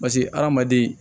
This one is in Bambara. Paseke hadamaden